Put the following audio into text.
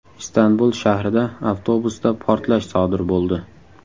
Istanbul shahrida avtobusda portlash sodir bo‘ldi.